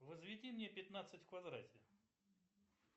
возведи мне пятнадцать в квадрате